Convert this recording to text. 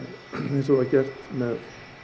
eins og var gert með